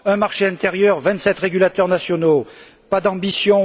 un marché intérieur, vingt sept régulateurs nationaux, pas d'ambition